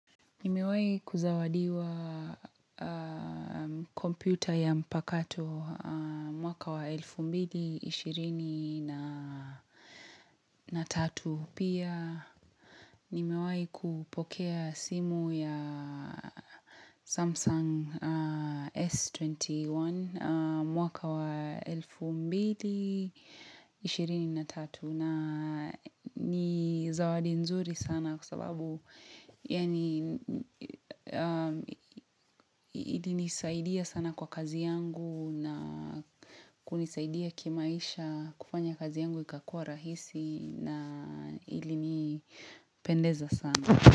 Nimewai kuzawadiwa kompyuta ya mpakato mwaka wa elfu mbili ishirini na na tatu pia. Nimewai kupokea simu ya Samsung S21 mwaka wa elfu mbili ishirini na tatu na ni zawadi nzuri sana kwa sababu yaanj ili nisaidia sana kwa kazi yangu na kunisaidia kimaisha kufanya kazi yangu ikakua rahisi na ilinipendeza sana.